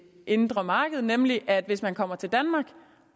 indre marked nemlig at hvis man kommer til danmark